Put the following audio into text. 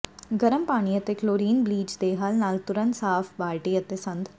ਗਰਮ ਪਾਣੀ ਅਤੇ ਕਲੋਰੀਨ ਬਲੀਚ ਦੇ ਹੱਲ ਨਾਲ ਤੁਰੰਤ ਸਾਫ਼ ਬਾਲਟੀ ਅਤੇ ਸੰਦ